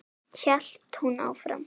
hélt hún áfram.